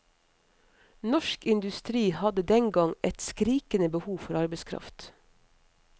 Norsk industri hadde dengang et skrikende behov for arbeidskraft.